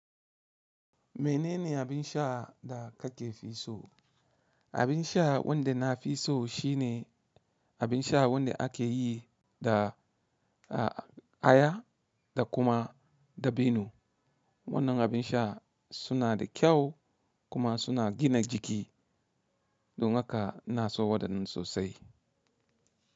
Menene abin sha da kake fi so? Abin sha wanda na fi so shine abin sha wanda ake yi da aya da kuma dabino. Wannan abin sha suna da kyau kuma suna gina jiki. Don haka ina so wadannan sosai.